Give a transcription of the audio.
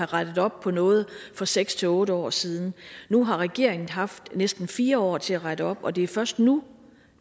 rettet op på noget for seks otte år siden nu har regeringen haft næsten fire år til at rette op og det er først nu